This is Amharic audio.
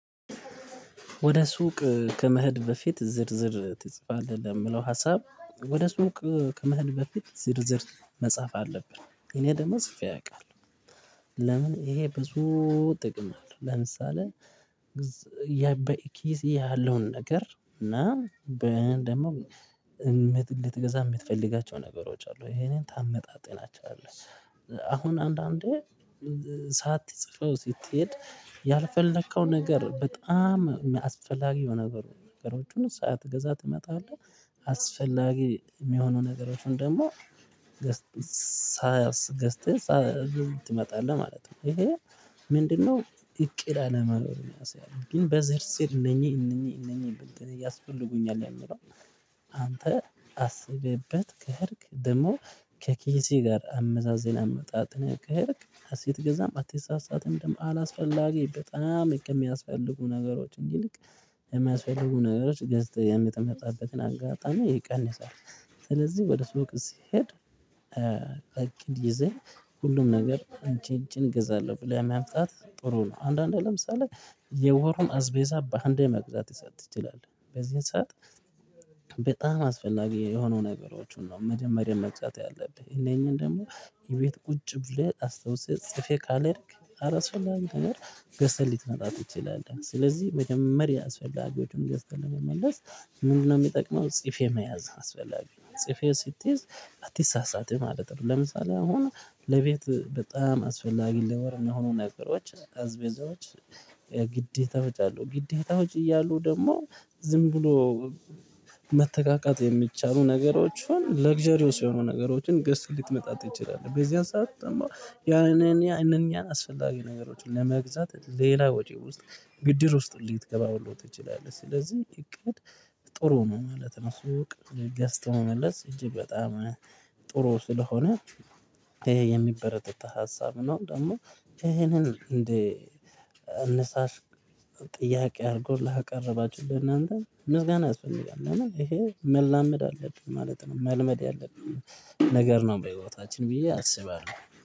ወደ ሱቅ ከመህድ በፊት ዝርዝር ትጽፋለህ ለሚለው ሀሳብ ወደ ሱቅ ከመህድ በፊት ዝርዝር መጻፍ አለብን እኔ ደግሞ ጽፌ ያውቃል ለምን ይሄ ብዙ ጥቅም አለው። ለምሳሌ ያ በኢኪዚ ያለውን ነገር እና ደግሞ እንድትገዛ የምትፈልጋቸው ነገሮች አሉ ይሄንን ታመጣጥናቸዋለህ። አሁን አንዳንዴ ሳትጽፈው ስትሄድ ያልፈለከው ነገር በጣም አስፈላጊ የሆነ ነገሮችን ሳትገዛ ትመጣለህ አስፈላጊ የሚሆኑ ነገሮችን ደግሞ ገዝተህ ትመጣለህ ማለት ነው ይሄ ምንድነው እቅድ አለመኖሩን ያሳያል ግን በዘርዝር እነኚህ እነኚህ እነኚህ እያስፈልጉኝ አይደለም አንተ አስብበት ከሄድክ ደግሞ ከኬዚህ ጋር አመዛዝን አመጣጥን ያደርግ ሀሴት ገዛም አትሳሳትም ደግሞ አላስፈላጊ በጣም የሚያስፈልጉ ነገሮች እንዲልክ የሚያስፈልጉ ነገሮች ገዝተህ የሚጠመጣበትን አጋጣሚ ይቀንሳል። ስለዚህ ወደ ሱቅ ስሄድ እግድ ይዘኝ ሁሉም ነገር እንጭንጭን እገዛለሁ ብለያም ያምጣት ጥሩ ነው አንዳንዴ ለምሳሌ የወሩም አዝቤዛ በአንዴ መቅዛት ይሰጥ ትችላለህ በዚህ ሰዓት በጣም አስፈላጊ የሆኑ ነገሮችን ነው። መጀመሪያ መግዛት ያለብህ እነኚህን ደግሞ የቤት ቁጭ ብለህ አስታውሰህ ጽፌህ ካልሄድክ አላስፈላጊ ትምህርት ገዝተህ ሊትመጣ ትችላለህ ስለዚህ መጀመሪያ አስፈላጊዎችን እንደምትመለስ ምንድን ነው የሚጠቅመው? ጽፌ መያዝ አስፈላጊ ጽፌው ስትይዝ አትሳሳትም ማለት ነው ለምሳሌ አሁን ለቤት በጣም አስፈላጊ ለወር እሚሆኑ ነገሮች አዝቤዛዎች የግዴታ ወጭ አሉ ግዴታ ውጭ እያሉ ደግሞ ዝም ብሎ መተቃቃት የሚቻሉ ነገሮችን ለግዠሪ ሲሆኑ ነገሮችን ገዝተህ ልትመጣ ትችላለህ። በዚያን ሰዓት ያንን ያንን ያንን አስፈላጊ ነገሮችን ለመግዛት ሌላ ወጪ ውስጥ ብድር ውስጥ ሊትገባ ሁሉ ትችላለህ ስለዚህ እቅድ ጥሩ ነው ማለት ነው ስውቅ ገዝተው መመለስ እንጂ በጣም ጥሩ ስለሆነ ይሄ የሚበረታ ሀሳብ ነው ደግሞ ይሄንን እንዴ ንስሃሽ ጥያቄ አድርጎ ላቀረባችሁ ለእናንተ ምስጋና እሱ ይላል እና ይሄ መላመድ አለብን ማለት ነው መልመድ ያለብን ነገር ነው በህይወታችን ብዬ አስባለሁ።